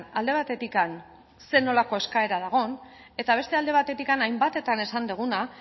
alde batetik ze nolako eskaera dagon eta beste alde batetik hainbatetan esan deguna